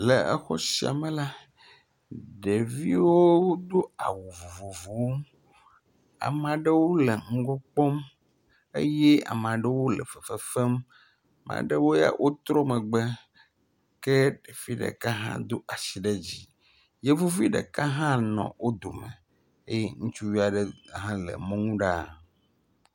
Le exɔ sia me la, ɖeviwo wodo awu vovovowo. Ame aɖewo le ŋgɔ kpɔm eye ame aɖewo le fefefem. Ame aɖewo ya wotrɔ megbe. Ke ɖevi ɖeka hã wodo asi ɖe dzi. Yevuvi ɖeka hã e wobe dome eye ŋutsuvi ɖeka hã le mɔnu ɖa.